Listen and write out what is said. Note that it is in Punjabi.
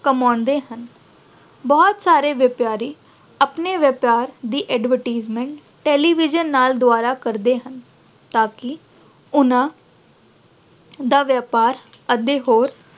ਕਮਾਉਂਦੇ ਹਨ। ਬਹੁਤ ਸਾਰੇ ਵਪਾਰੀ ਆਪਣੇ ਵਪਾਰ ਦੀ advertisement, television ਨਾਲ ਦੁਆਰਾ ਕਰਦੇ ਹਨ ਤਾਂ ਕਿ ਉਨ੍ਹਾਂ ਦਾ ਵਪਾਰ ਅਤੇ ਹੋਰ